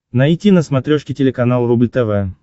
найти на смотрешке телеканал рубль тв